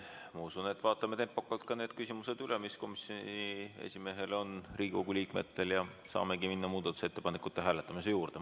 Ma usun, et vaatame tempokalt üle ka need küsimused, mis komisjoni esimehele on Riigikogu liikmetel, ja siis saame minna muudatusettepanekute hääletamise juurde.